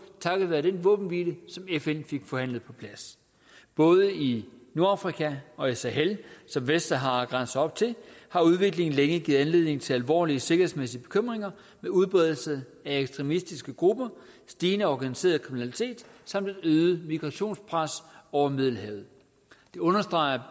takket være den våbenhvile som fn fik forhandlet på plads både i nordafrika og i sahel som vestsahara grænse op til har udviklingen længe givet anledning til alvorlige sikkerhedsmæssige bekymringer med udbredelse af ekstremistiske grupper stigende organiseret kriminalitet samt et øget migrationspres over middelhavet det understreger